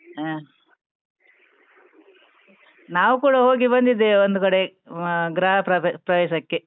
ಹಾ, ನಾವು ಕುಡಾ ಹೋಗಿ ಬಂದಿದ್ದೇವೆ ಒಂದು ಕಡೆ, ಅಹ್ ಗೃಹ ಪ್ರವ್~ ಪ್ರವೇಶಕ್ಕೆ.